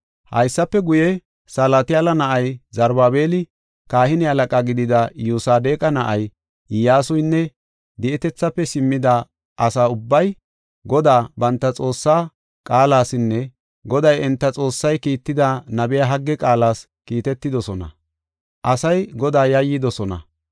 Haysafe guye, Salatiyaala na7ay Zarubaabeli, kahine halaqa gidida Iyyosadeqa na7ay, Iyyasuynne di7etethaafe simmida asa ubbay, Godaa banta Xoossaa qaalasinne Goday enta Xoossay kiitida nabiya Hagge qaalas, kiitetidosona; asay Godaa yayyidosona.